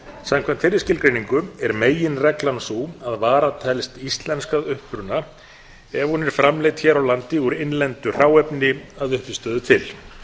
samkvæmt þeirri skilgreiningu er meginreglan sú að varan telst íslensk að uppruna ef hún er framleidd hér á landi úr innlendu hráefni að uppistöðu til